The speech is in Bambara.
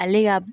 Ale ka